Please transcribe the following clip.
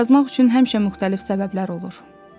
Yazmaq üçün həmişə müxtəlif səbəblər olur.